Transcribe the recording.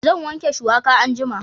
Zan wanke shuwaka anjima